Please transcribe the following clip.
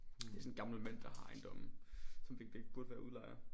Det er sådsn en gammel mand der har ejendommen